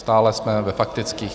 Stále jsme ve faktických.